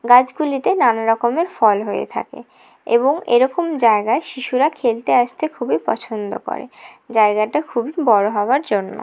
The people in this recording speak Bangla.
গাছ গুলিতে নানা রকমের ফল হয়ে থাকে এবং এরকম জায়গায় শিশুরা খেলতে আসতে খুবই পছন্দ করে জায়গাটা খুবই বড়ো হওয়ার জন্য।